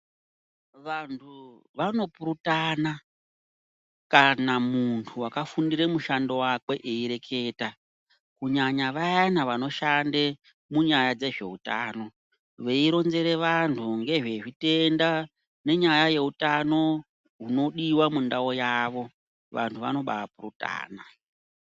Vantu vanopurutana kana muntu wakafundira mushando wakwe eireketa kunyanya vayana vanoshande munyaya dzezveutano veironzere vantu ngezvezvitenda nenyaya yeutano unodiwa mundau yavo vantu vanomba purutana.